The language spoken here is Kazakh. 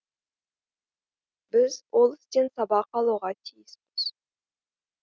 біз ол істен сабақ алуға тиіспіз